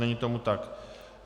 Není tomu tak.